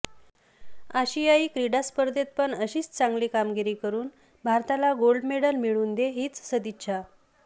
आशियाई क्रीडा स्पर्धेत पण अशीच चांगली कामगिरी करून भारताला गोल्ड मेडल मिळवून दे हीच सदिच्छा